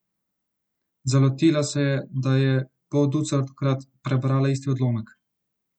Zalotila se je, da je polducatkrat prebrala isti odlomek.